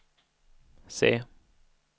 C